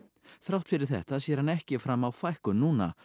þrátt fyrir þetta sér hann ekki fram á fækkun núna